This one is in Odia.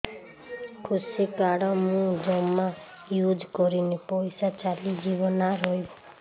କୃଷି କାର୍ଡ ମୁଁ ଜମା ୟୁଜ଼ କରିନି ପଇସା ଚାଲିଯିବ ନା ରହିବ